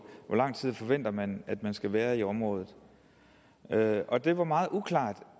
hvor lang tid forventer man at man skal være i området og det var meget uklart